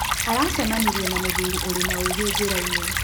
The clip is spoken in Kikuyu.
Aracemanĩrĩe na mũthũrĩ ũrĩ na ũgĩ jĩraĩnĩ.